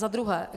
Za druhé.